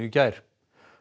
gær